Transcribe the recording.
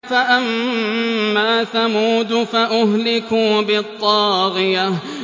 فَأَمَّا ثَمُودُ فَأُهْلِكُوا بِالطَّاغِيَةِ